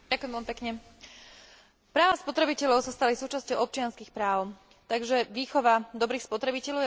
Práva spotrebiteľov sa stali súčasťou občianskych práv, takže výchova dobrých spotrebiteľov je vlastne výučbou lepších občanov.